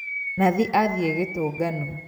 Nathi athiĩ gĩtũngano